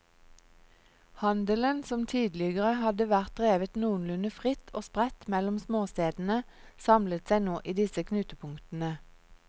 Handelen som tidligere hadde vært drevet noenlunde fritt og spredt mellom småstedene, samlet seg nå i disse knutepunktene.